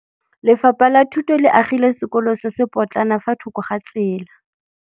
Lefapha la Thuto le agile sekôlô se se pôtlana fa thoko ga tsela.